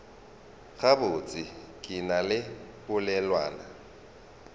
gabotse ke na le polelwana